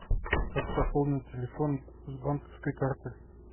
как пополнить телефон с банковской карты